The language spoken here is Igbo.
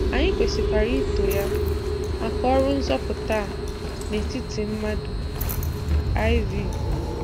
Anyị kwesịkwara ito Ya maka ọrụ nzọpụta a n'etiti mmadụ. IV.